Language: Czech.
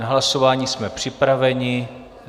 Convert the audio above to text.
Na hlasování jsme připraveni.